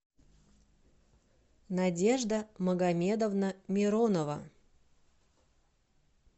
надежда магомедовна миронова